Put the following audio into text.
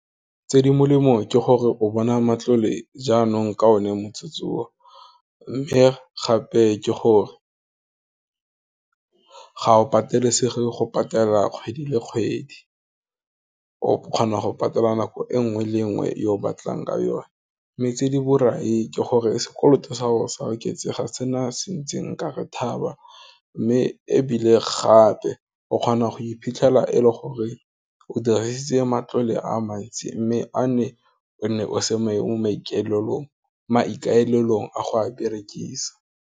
Tse di molemo ke gore, o bona matlole jaanong ka one motsotsong o, mme gape ke gore, ga o patelesege go patela kgwedi le kgwedi, o kgona go patela nako e nngwe le nngwe yo o batlang ka yone, mme tse di borai ke gore, sekoloto sa go sa oketsega sena se ntseng nkare thaba, mme ebile gape, o kgona go iphitlhela e le gore o dirise matlole a mantsi, mme a ne o nne o semane mo maikaelelong a go a berekisa.